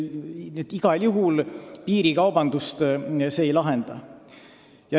Nii et igal juhul piirikaubandust see ei lahenda.